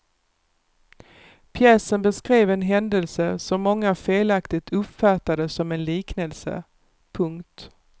Pjäsen beskrev en händelse som många felaktigt uppfattade som en liknelse. punkt